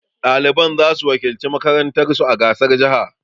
Ɗaliban za su wakilci makarantar su a gasar jaha